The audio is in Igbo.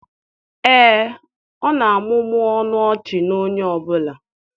Ee, ọ na-amụmụ ọnụ ọchị na onye ọ bụla